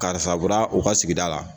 Karisa bɔra u ka sigida la